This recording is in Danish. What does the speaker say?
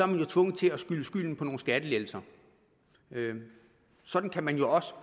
man jo tvunget til at skyde skylden på nogle skattelettelser sådan kan man jo også